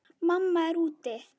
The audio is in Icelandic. Mamma er úti.